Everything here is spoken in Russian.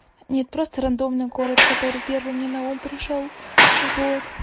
нет просто рандомный город который первый мне на ум пришёл вот